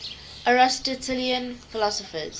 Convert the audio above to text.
aristotelian philosophers